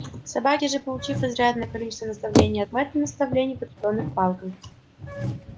собаки же получив изрядное количество наставлений от мэтта наставлений подкреплённых палкой